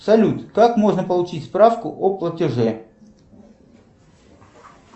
салют как можно получить справку о платеже